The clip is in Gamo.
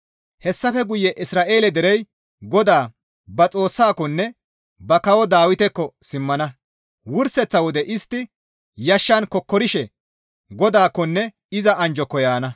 Hessafe guye Isra7eele derey GODAA ba Xoossaakonne ba kawo Dawitekko simmana. Wurseththa wode istti yashshan kokkorishe GODAAKKONNE iza anjjoko yaana.